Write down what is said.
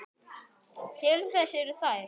Til þess eru þær.